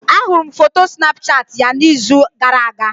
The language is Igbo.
Ahụrụ m foto Snapchat ya n'izu gara-aga.